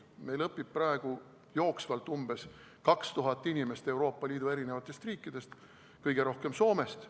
Meil õpib praegu jooksvalt umbes 2000 inimest Euroopa Liidu riikidest, kõige rohkem Soomest.